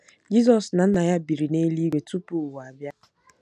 Jizọs na Nna ya biri n’eluigwe “ tupu ụwa abịa.”